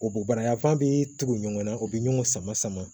O bo bara yanfan bɛ tugu ɲɔgɔn na u bɛ ɲɔgɔn sama sama